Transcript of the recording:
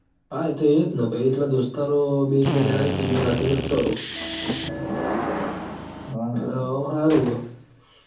હા એતો એજ ન પહી એટલ દોસ્તારો બે એક-બે જણા હી તે ઈયોન રઉં એટલ ઓમ હારું હ